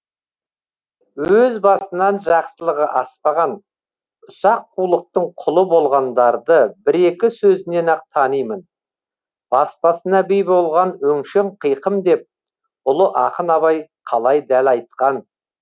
өз басынан жақсылығы аспаған ұсақ қулықтың құлы болғандарды бір екі сөзінен ақ танимын бас басына би болған өңшең қиқым деп ұлы ақын абай қалай дәл айтқан